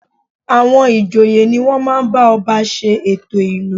À̀wọn ìjòyè ni wọ́n máa ń bá ọba ṣe ètò ìlú